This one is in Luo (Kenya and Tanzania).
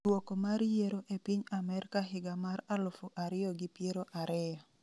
dwoko mar yiero e piny Amerka higa mar alufu ariyo gi piero ariyo